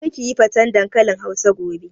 Kar kiyi faten dankalin hausa gobe!